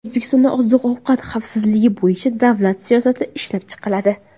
O‘zbekistonda oziq-ovqat xavfsizligi bo‘yicha davlat siyosati ishlab chiqiladi.